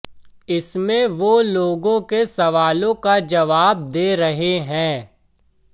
इसमें वो लोगों के सवालों का जवाब दे रहे हैं